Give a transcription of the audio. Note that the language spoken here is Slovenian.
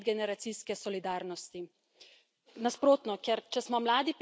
Vendar to ne pomeni, da se ne zavedam pomena medgeneracijske solidarnosti.